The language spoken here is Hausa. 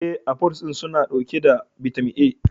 E, afuls din suna dauke da bitamin A.